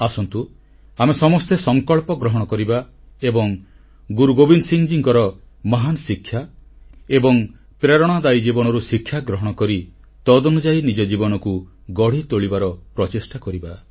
ଆସନ୍ତୁ ଆମେ ସମସ୍ତେ ସଂକଳ୍ପ ଗ୍ରହଣ କରିବା ଏବଂ ଗୁରୁ ଗୋବିନ୍ଦ ସିଂଙ୍କର ମହାନ ଶିକ୍ଷା ଏବଂ ପ୍ରେରଣାଦାୟୀ ଜୀବନରୁ ଶିକ୍ଷାଗ୍ରହଣ କରି ତଦନୁଯାୟୀ ନିଜ ଜୀବନକୁ ଗଢ଼ି ତୋଳିବାର ପ୍ରଚେଷ୍ଟା କରିବା